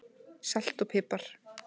Salt og pipar